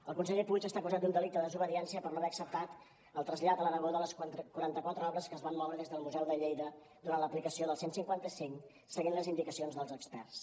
el conseller puig està acusat d’un delicte de desobediència per no haver acceptat el trasllat a l’aragó de les quaranta quatre obres que es van moure des del museu de lleida durant l’aplicació del cent i cinquanta cinc seguint les indicacions dels experts